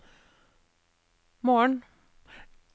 morgen